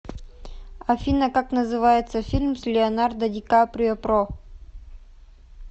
афина как называется фильм с леонардо ди каприо про